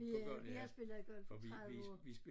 Ja jeg spillede golf i 30 år